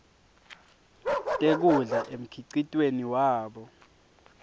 tekudla emkhicitweni wabo